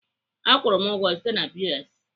Akwụru m ụgwọ site na POS.